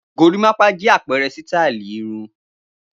Gorímápá jẹ́ àpẹẹrẹ sítáálì irun.